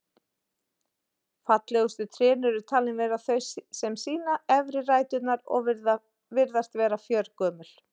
Fallegustu trén eru talin vera þau sem sýna efri ræturnar og virðast vera fjörgömul.